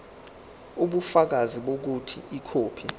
ubufakazi bokuthi ikhophi